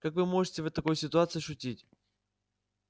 как вы можете в такой ситуации шутить